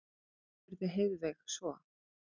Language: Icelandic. spurði Heiðveig svo.